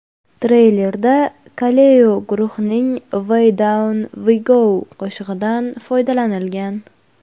Treylerda Kaleo guruhining Way Down We Go qo‘shig‘idan foydalanilgan.